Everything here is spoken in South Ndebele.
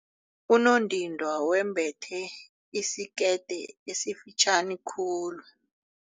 Unondindwa wembethe isikete esifitjhani khulu.